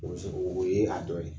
o yee a dɔ ye.